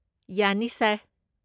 ꯌꯥꯅꯤ, ꯁꯥꯔ꯫